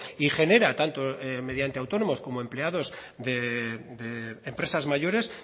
y genera tanto mediante autónomos como empleados de empresas mayores